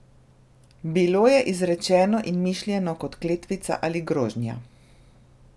Bilo je izrečeno in mišljeno kot kletvica ali grožnja.